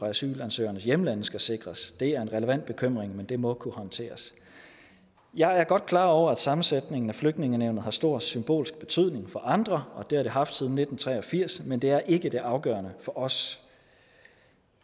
asylansøgernes hjemlande skal sikres det er en relevant bekymring men det må kunne håndteres jeg er godt klar over at sammensætningen af flygtningenævnet har stor symbolsk betydning for andre og det har det haft siden nitten tre og firs men det er ikke det afgørende for os